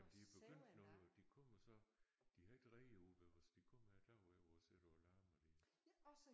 Men de er begyndt nu de kommer så de har ikke reder ude ved os de kommer om dagen øh og sidder og larmer der